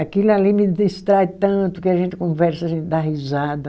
Aquilo ali me distrai tanto que a gente conversa, a gente dá risada.